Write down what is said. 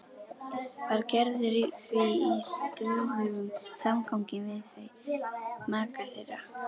Var Gerður því í stöðugum samgangi við þau, maka þeirra